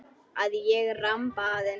Að ég ramba aðeins.